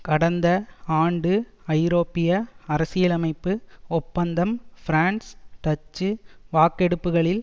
கடந்த ஆண்டு ஐரோப்பிய அரசியலமைப்பு ஒப்பந்தம் பிரான்ஸ் டச்சு வாக்கெடுப்புக்களில்